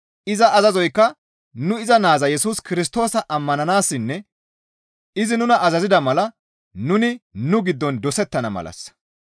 Iza azazoykka nu iza Naaza Yesus Kirstoosa ammananassinne izi nuna azazida mala nuni nu giddon dosettana malassa.